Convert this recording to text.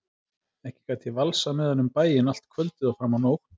Ekki gat ég valsað með hann um bæinn allt kvöldið og fram á nótt.